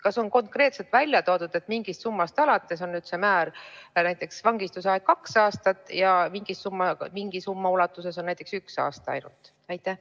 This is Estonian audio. Kas on konkreetselt välja toodud, et mingist summast alates on see määr, näiteks vangistusaeg kaks aastat ja mingi summa puhul on näiteks üks aasta ainult?